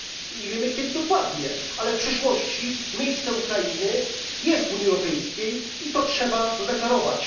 nie wiemy kiedy dokładnie, ale w przyszłości miejsce Ukrainy jest w Unii Europejskiej i to trzeba zadeklarować.